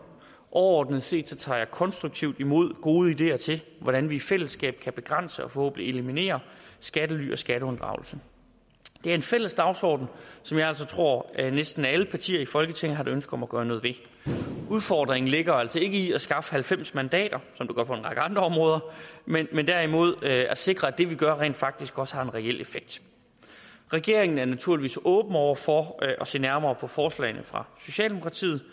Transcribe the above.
overordnet set tager jeg konstruktivt imod gode ideer til hvordan vi i fællesskab kan begrænse og forhåbentlig eliminere skattely og skatteunddragelse det er en fælles dagsorden som jeg altså tror næsten alle partier i folketinget har et ønske om at gøre noget ved udfordringen ligger altså ikke i at skaffe halvfems mandater som det gør på en række andre områder men derimod at sikre at det vi gør rent faktisk også har en reel effekt regeringen er naturligvis åben over for at se nærmere på forslagene fra socialdemokratiet